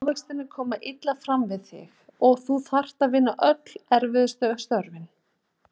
Ávextirnir komu illa fram við þig og þú þurftir að vinna öll erfiðustu störfin.